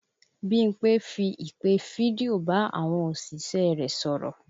Bímpé fi ìpè fídíò bá àwọn òṣìṣẹ́ rẹ̀ sọ̀rọ̀